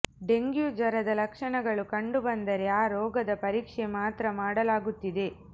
dengue ಜ್ವರದ ಲಕ್ಷಣಗಳು ಕಂಡುಬಂದರೆ ಆ ರೋಗದ ಪರೀಕ್ಷೆ ಮಾತ್ರ ಮಾಡಲಾಗುತ್ತಿದೆ